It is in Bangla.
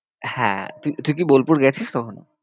হ্যাঁ তুই কি তুই কি বোলপুর গেছিস কখনো?